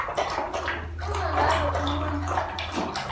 uma ngabe umuntfu